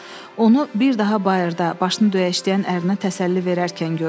Onu bir daha bayırda başını döyəşdən ərinə təsəlli verərkən gördü.